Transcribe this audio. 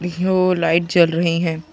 --हो लाइट जल रहे है ।